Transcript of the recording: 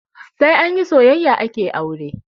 Sai anyi soyayya ake aure